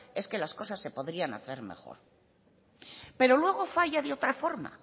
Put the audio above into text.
es que las cosas se podrían hacer mejor pero luego falla de otra forma